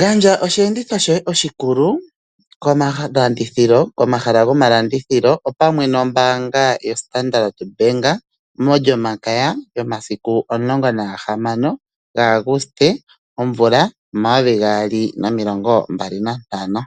Gandja osheenditho shoye oshikulu, komahala go malandithilo, opamwe nombaanga yo Standard Bank molyomakaya, yomasiku omulongo nagahamano gaAugste omvula omayovi gaali nomilongo mbali nantano.